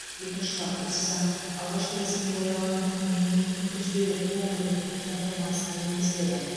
екінші бап осы заң алғашқы ресми жарияланған күнінен кейін күнтізбелік он күн өткен соң қолданысқа енгізіледі